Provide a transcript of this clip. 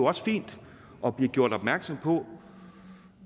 også fint at blive gjort opmærksom på